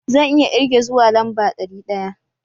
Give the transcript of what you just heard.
Zan iya irge zuwa lamba ɗari biya.